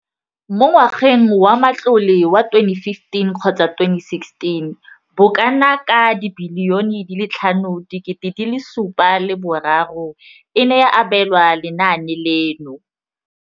Mo ngwageng wa matlole wa 2015 le 2016, bokanaka R5 703 bilione e ne ya abelwa lenaane leno.